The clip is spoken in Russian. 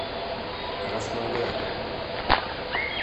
краснодаре